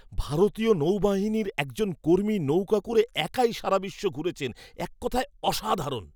ভারতীয় নৌবাহিনীর একজন কর্মী নৌকা করে একাই সারা বিশ্ব ঘুরেছেন। এক কথায় অসাধারণ!